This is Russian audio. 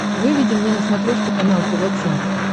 выведи мне на смотрешке канал тв центр